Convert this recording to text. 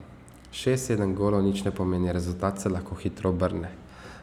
Šest, sedem golov nič ne pomeni, rezultat se lahko hitro obrne.